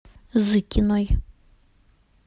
зыкиной